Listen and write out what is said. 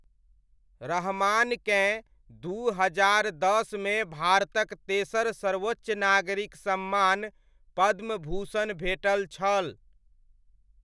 रहमानकेँ दू हजार दसमे भारतक तेसर सर्वोच्च नागरिक सम्मान पद्मभूषण भेटल छल।